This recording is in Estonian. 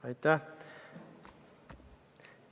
Aitäh!